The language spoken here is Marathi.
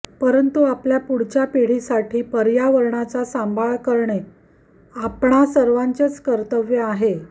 परंतु आपल्या पुढच्या पिढीसाठी पर्यावरणाचा सांभाळ करणे आपणा सर्वांचेच कर्तव्य आहे